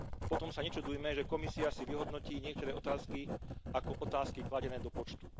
Potom sa nečudujme, že Komisia si vyhodnotí niektoré otázky ako otázky kladené do počtu.